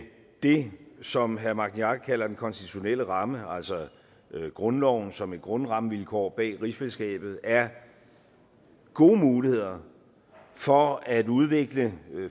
det som herre magni arge kalder den konstitutionelle ramme altså grundloven som et grundrammevilkår bag rigsfællesskabet er gode muligheder for at udvikle